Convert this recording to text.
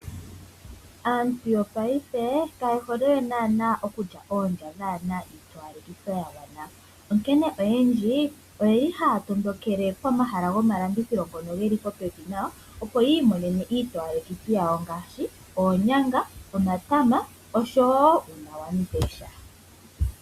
Aantu yopaife ka yehole naana okulya oondja dhaana iitowalekitho ya gwana. Onkene oyendji oyeli haya tondokele komahala go malandithilo ngono geli popepi opo yi imonene itowalekithi yawo ngaashi oonyanag, omatama osho wo uunawandesha.